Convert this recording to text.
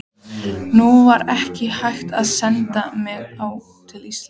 Nú var ekki hægt að senda mig til Íslands.